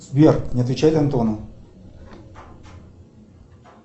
сбер не отвечать антону